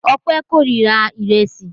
Ọpẹ́ kórira ìrẹsì.